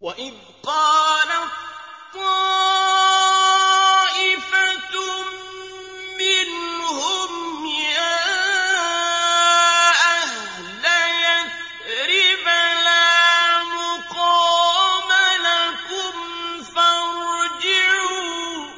وَإِذْ قَالَت طَّائِفَةٌ مِّنْهُمْ يَا أَهْلَ يَثْرِبَ لَا مُقَامَ لَكُمْ فَارْجِعُوا ۚ